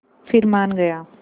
फिर मान गया